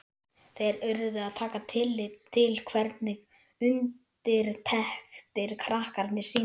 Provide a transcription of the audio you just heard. Þeir urðu að taka tillit til hvernig undirtektir krakkarnir sýndu.